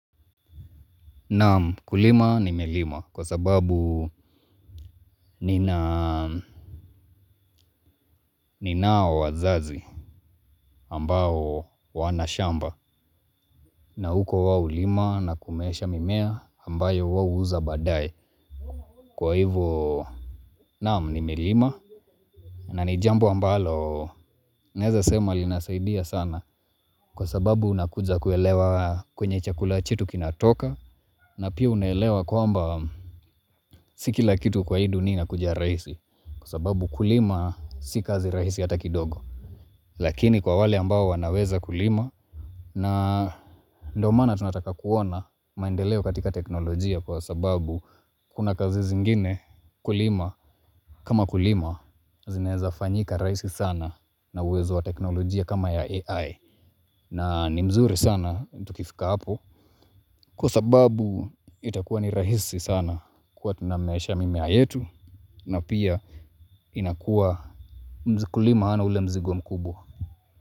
Naam kulima nimelima kwa sababu ninao wazazi ambao wana shamba na huko wao hulima na kumeesha mimea ambayo wao huuza baadaye kwa hivo naam nimelima na ni jambo ambalo naeza sema linasaidia sana kwa sababu unakuja kuelewa kwenye chakula chetu kinatoka na pia unaelewa kwamba si kila kitu kwa hii dunia inakuja rahisi. Kwa sababu kulima si kazi rahisi hata kidogo. Lakini kwa wale ambao wanaweza kulima na ndio maana tunataka kuona maendeleo katika teknolojia. Kwa sababu kuna kazi zingine kulima. Kama kulima zinaeza fanyika rahisi sana na uwezo wa teknolojia kama ya AI Na ni mzuri sana tukifika hapo. Kwa sababu itakuwa ni rahisi sana kuwa tunameesha mimea yetu na pia inakua mkulima ana ule mzigo mkubwa.